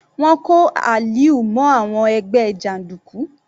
Wọ́n kó Aliu mọ́ àwọn ẹgbẹ́ jàndùkú.